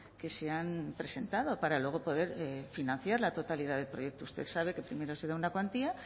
que se han presentado para luego poder financiar la totalidad del proyecto usted sabe que primero se da una cuantía